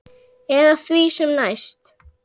Eða því sem næst.